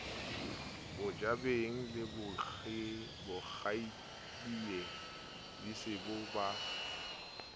mojabeng le kgaitsedie disebo ba